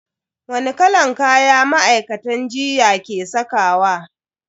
Wani kalan kaya ma'aikatan jinya ke sakawa?